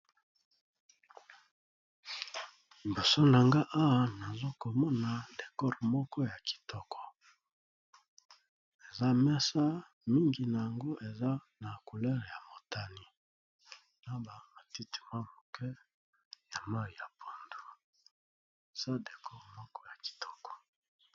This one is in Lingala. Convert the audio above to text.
Liboso na ngai awa nazakomona décor moko ya kitoko, eza mesa mingi na yango eza na couleur ya motani, na ba matiti mwa moke ya mai ya pundu eza décor moko ya kitoko.